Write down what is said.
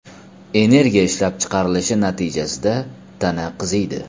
Energiya ishlab chiqrarilishi natijasida tana qiziydi.